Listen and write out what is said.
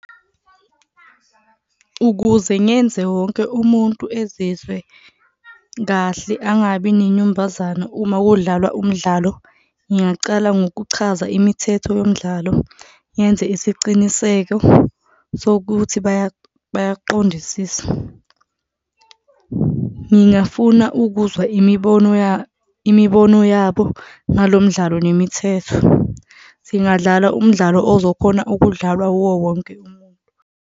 Ukuze ngenze wonke umuntu ezizwe kahle, angabi nenyumbazana uma kudlalwa umdlalo ngingacala ngokuchaza imithetho yomdlalo, ngenze isiciniseko sokuthi bayaqondisisa. Ngingafuna ukuzwa imibono imibono yabo ngalo mdlalo nemithetho. Singadlala umdlalo ozokhona okudlalwa wuwo wonke umuntu.